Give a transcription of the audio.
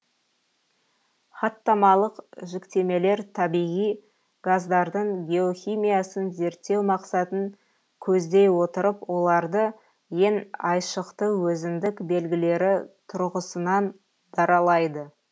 хаттамалық жіктемелер табиғи газдардың геохимиясын зерттеу мақсатын көздей отырып оларды ең айшықты өзіндік белгілері тұрғысынан даралайды